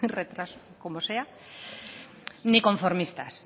o como sea ni conformistas